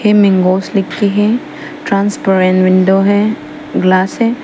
हे mangoes लिख के है ट्रांसपेरेंट विंडो है ग्लास है।